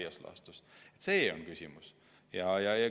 Selles on küsimus.